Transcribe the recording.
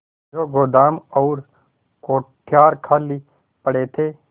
जो गोदाम और कोठार खाली पड़े थे